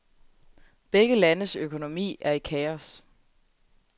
Begge landes økonomi er i kaos.